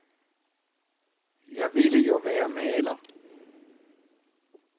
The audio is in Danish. Jeg ville jo være maler.